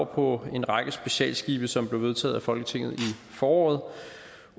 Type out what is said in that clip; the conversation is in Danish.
på en række specialskibe som blev vedtaget af folketinget i foråret